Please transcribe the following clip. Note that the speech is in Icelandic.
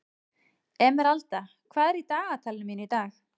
Emeralda, hvað er í dagatalinu mínu í dag?